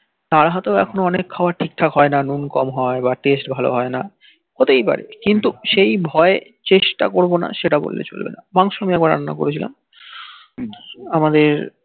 আর হইত অনেক খাবার ঠিক থাক হই না নুন কম হই বা taste ভাল হই না হতেই পারে কিন্তু সেই ভয়ে চেষ্টা করবো না সেটা বললে চলবে না মাংস যেমন রান্না করেছিলাম আমাদের